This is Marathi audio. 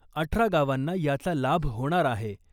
अठरा गावांना याचा लाभ होणार आहे .